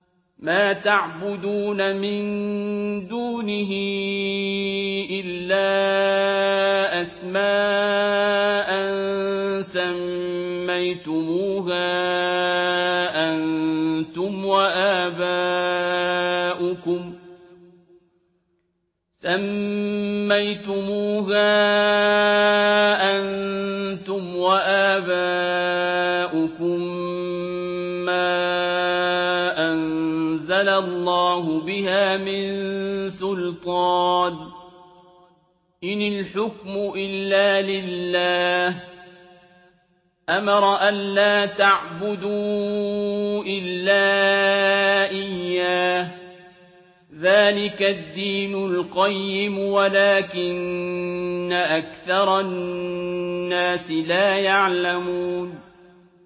مَا تَعْبُدُونَ مِن دُونِهِ إِلَّا أَسْمَاءً سَمَّيْتُمُوهَا أَنتُمْ وَآبَاؤُكُم مَّا أَنزَلَ اللَّهُ بِهَا مِن سُلْطَانٍ ۚ إِنِ الْحُكْمُ إِلَّا لِلَّهِ ۚ أَمَرَ أَلَّا تَعْبُدُوا إِلَّا إِيَّاهُ ۚ ذَٰلِكَ الدِّينُ الْقَيِّمُ وَلَٰكِنَّ أَكْثَرَ النَّاسِ لَا يَعْلَمُونَ